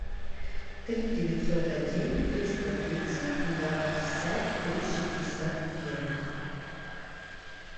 три девятьсот один триста тридцать два пятьдесят три шестьдесят ноль